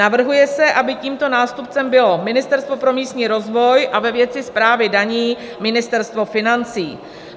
Navrhuje se, aby tímto nástupcem bylo Ministerstvo pro místní rozvoj a ve věci správy daní Ministerstvo financí.